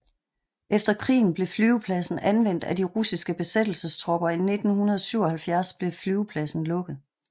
Efter krigen blev flyvepladsen anvendt af de russiske besættelsestropper og i 1977 blev flyvepladsen lukket